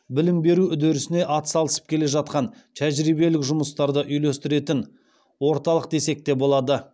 білім беру үдерісіне атсалысып келе жатқан тәжірибелік жұмыстарды үйлестіретін орталық десек те болады